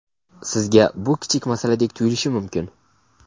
Sizga bu kichik masaladek tuyulishi mumkin.